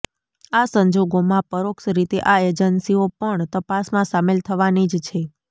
આ સંજોગોમાં પરોક્ષ રીતે આ એજન્સીઓ પણ તપાસમાં સામેલ થવાની જ છે